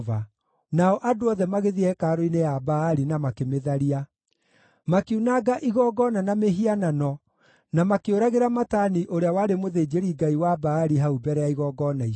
Nao andũ othe magĩthiĩ hekarũ-inĩ ya Baali na makĩmĩtharia. Makiunanga igongona na mĩhianano na makĩũragĩra Matani ũrĩa warĩ mũthĩnjĩri-ngai wa Baali hau mbere ya igongona icio.